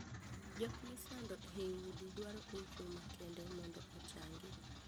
Jok misando ei udi dwaro hocho makende mondo ochangi.